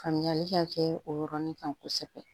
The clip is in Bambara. Faamuyali ka kɛ o yɔrɔnin kan kosɛbɛ